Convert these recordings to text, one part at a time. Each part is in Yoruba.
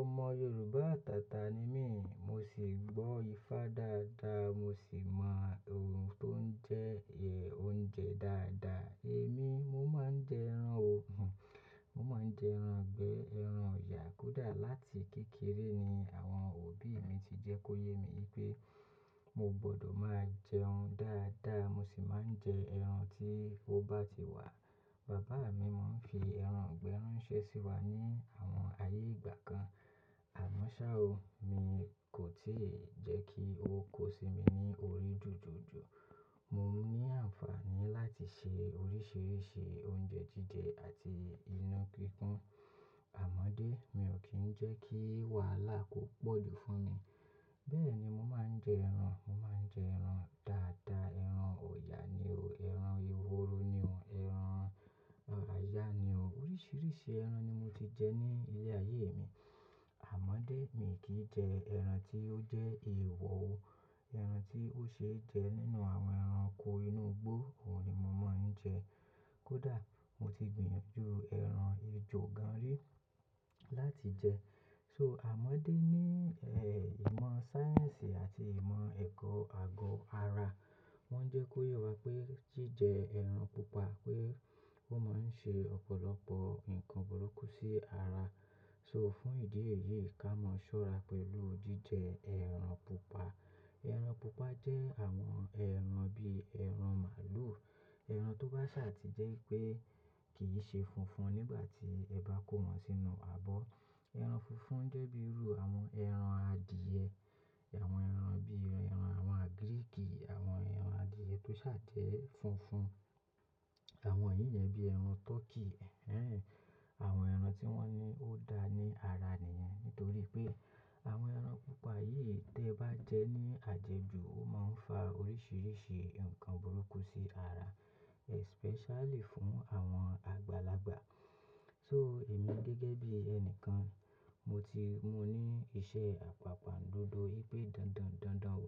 Ọmọ Yorùbá atàtàni mí, mo sì gbọ́ Ifá dáadáa, mo sì mọ ohun tó ń jẹ oúnjẹ dáadáa. Èmi, mo máa ń jẹ ẹran o, mo máa ń jẹ ẹran ìgbẹ́, ẹran òyà. Kódà láti kékeré ni àwọn òbí mi ti jẹ́ kó yé mi wí pé mo gbọdọ̀ máa jẹ oún dáadáa, mo sì máa ń jẹ ẹran tí ó bá ti wà. Bàbá mi máa ń fi ẹran àgbẹ̀ ránṣẹ́ sí wa ní àwọn ayé ìgbà kan. Àmọ́ ṣá o, mi kò tíì jẹ́ kí ó kó sí mi ní orí jùjùjù. Mo ní àǹfààní láti ṣe oríṣiríṣi oúnjẹ jíjẹ àti iyán gígún. Àmọ́ dé, mi ò kí ń jẹ́ kí wàhálà kó pọ̀ jù fún mi. Bẹ́ẹ̀ ni mo máa ń jẹ ẹran, mo máa ń jẹ ẹran dáadáa. Ẹran ọya ni o, ẹran ehoro ni o, ẹran ajá ni o. Oríṣiríṣi ẹran ni mo ti jẹ ní ilé ayé mi. Àmọ́dé, mi kì í jẹ ẹran tí ó jẹ́ èèwọ̀ o. Ẹran tí ó ṣe é jẹ nínú àwọn ẹranko inú igbó, òun ni mo máa ń jẹ. Kódà mo ti gbìyànjú ẹran ejò gan-an rí láti jẹ. So, àmọ́ dé ní ẹ̀, ìmọ̀ sáyẹ́ǹsì àti ìmọ̀ ẹ̀kọ́ àgọ́ ara wọ́n jẹ́ kó ye wá pé jíjẹ ẹran pupa pé ó máa ń ṣe ọ̀pọ̀lọpọ̀ nǹkan burúkú sí ara. So, fún ìdí èyí, ká mọ sọ́ra pẹ̀lú jíjẹ ẹran pupa. Ẹran pupa jẹ́ àwọn ẹran bí ẹran màlúù, ẹran tó bá ṣàtì jẹ́ pé kì í ṣe funfun nígbà tí ẹ bá kó wọn sínú abọ́. Ẹran funfun jẹ́ bíi irú àwọn ẹran adìẹ, àwọn ẹran bí ẹran àwọn àgíríìkì, àwọn ẹran adìẹ tó ṣàa jẹ funfun. Àwọn yìí jẹ́ bí ẹran tọkí, ẹnhẹ, àwọn ẹran tí wọ́n ní ó dá ní ara niyẹn. Nítorí pé àwọn ẹran pupa yìí tí ẹ bá jẹ ní àjẹjù, ó máa ń fa oríṣiríṣi nǹkan burúkú sí ara, especially fún àwọn àgbàlagbà. So, èmi gẹ́gẹ́ bí ẹnikan, mo ti mú ní iṣẹ́ àpàpàǹdodo wípé dandan n dandan o,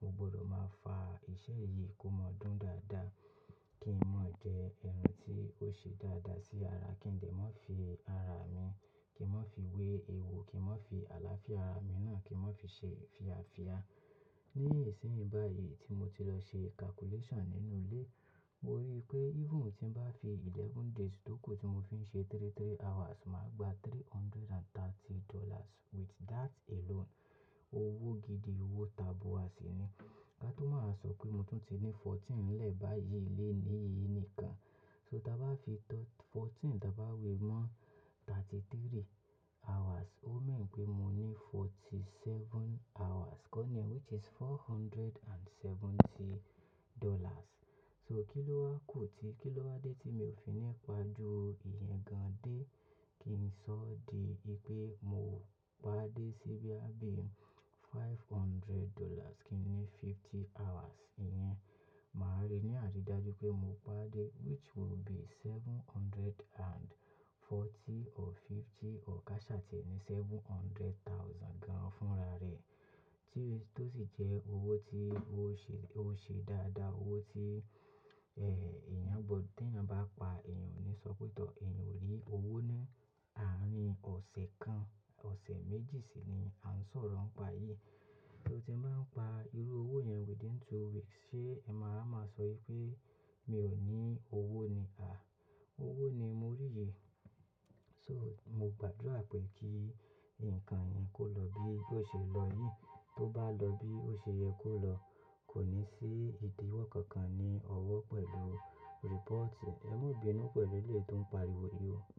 mo gbọdọ̀ máa fa iṣẹ́ yìí kó máa dún dáadáa kí n má jẹ ẹran tí ó ṣe dáadáa sí ara kí n dẹ má fi ara mi, kí n má fi wé ewu, kí n má fi àlàáfíà ara mi náà kí n má fi ṣe fíafìa. Ní ìsín báyìí tí mo ti lọ ṣe calculation nínú ilé, mo rí i pé even tí ń bá fi eleven days tókù tí mo fi ń ṣe three three hours, màá gba three hundred and thirty dollars. With that alone, owó gidi, owó tabua sì ni. Ká tó máa wa sọ pé mo tún ti ní fourteen n lẹ́ẹ̀ báyìí leni yìí nìkan. So, tí a bá fi thir-- fourteen tí a bá wé mọ́ thirty three hours, ó mean pé mo ní forty seven hours kọ́ ni, which is four hundred and seventy dollars. So, kì ló wá kù tí, kì ló wá dé tí mi ò fi nípa ju ìyẹn gan-an dé kí n sọ di pé mo ó pàdé sí bí i á bí i five hundred dollars kí ni fifty hours. Ìyẹn, màá rí ní àrídájú pé mo pàdé which will be seven hundred and forty or fifty or ká ṣà tìẹ ní seven hundred thousand gan-an fúnra rẹ̀ tí, tó sì jẹ́ owó tí ó ṣe, ó ṣe dáadáa. Owó tí, ẹ́, èèyàn gbọdọ̀ tí èèyàn bá pa èèyàn ò ní sọ pé tọ̀, èèyàn ò rí owó ní àárín ọ̀sẹ̀ kan, ọ̀sẹ̀ méjì sì ni à ń sọ̀rọ̀ ń pa yìí. Torí tí n máa ń pa irú owó yẹn within two weeks, ṣé ẹ máa wa máa sọ wipé mi ò ní owó ni? À, owó ni mo rí yìí. So, mo gbàdúrà pé kí nǹkan yìí kó lọ bí ó ṣe lọ yìí, tó bá lọ bí ó ṣe yẹ kó lọ. Kò ní sí ìdíwọ́ kankan ní ọwọ́ pẹ̀lú report. Ẹ mọ bínú pẹ̀lú eleyi tó ń pariwo yìí o.